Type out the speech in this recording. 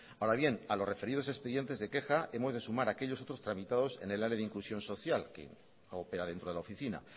ahora bien a los referidos expedientes de queja hemos de sumar aquellos otros tramitados en el área de inclusión social que opera dentro de la oficina